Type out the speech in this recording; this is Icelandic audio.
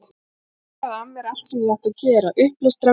Ég harkaði af mér allt sem ég átti að gera, upplestra, viðtöl.